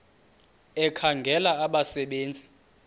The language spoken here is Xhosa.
ekhangela abasebe nzi